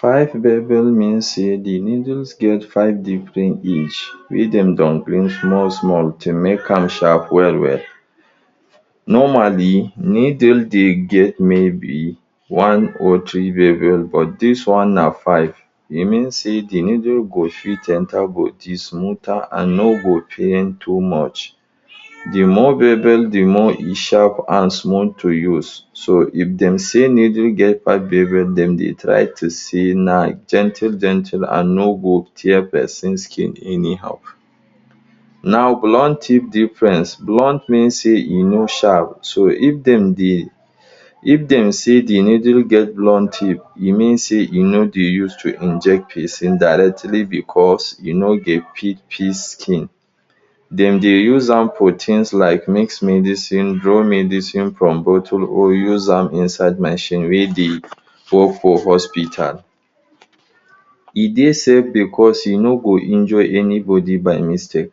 Five mean sey de needles get five different age wey dem don bring small small to make am sharp well well normally needle dey get maybe one or three but this one na five. e meand sey de needle go fit enter body smoother and no go pain too much de more De more e sharp and smooth to use so if dem say needle get Dem dey try to say na gentle gentle and no go tear person skin any how now blunt tip difference blunt meand say e no sharp so if dem dey if dem say de needle get blunt tip e mean say e no dey use to inject person directly because e no go fit pierce skin dem dey use am for tins like mix medicine from bottle or use am inside machine wey dey work for hospital e dey safe because e no go injure anybody by mistake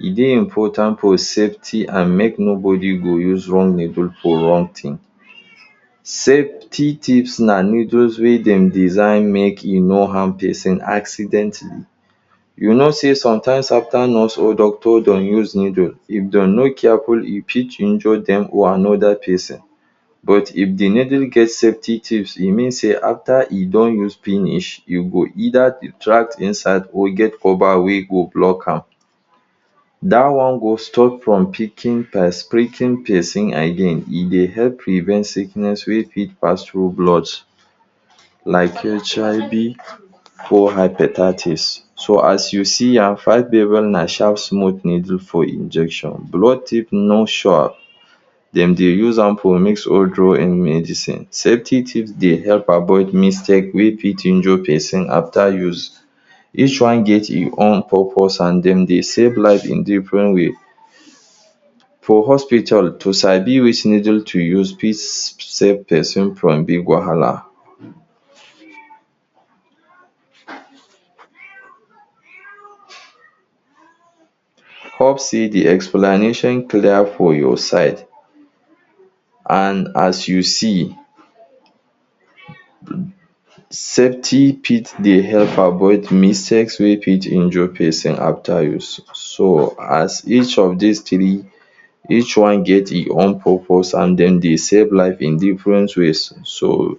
e dey important for safety and make no body go use wrong needle for wrong thing safety tips na needles wey dem design make e no harm person accident you know say sometimes after nurse or doctor don use needle if dem no careful e fit injure dem or anoda person but if de needle get safety tips e means say after e don use finish you go eider retract inside or get cover wey go block am dat one go stop from pricking peson again e dey help prevent sickness wey fit pass through blood like hiv or hepatitis so as you see am Na sharp smooth needle for injection blunt tip no sharp dem dey use am for mix or draw in medicine safety tips dey help avoid mistake wey fit injure person after use. each one get him own purpose and dem dey save life in different way for hospital to sabi which needle to use fit save person from big wahala. Hope say de explanation clear for your side and as you see safety fit dey help avoid mistakes wey fit injure person after use so as each of dis three each one get him own purpose and den save life in different ways so.